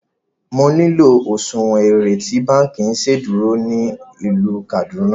Mo nilò òṣuwọ́n èrè tí bankí iṣedúró ní ilú Kaduna!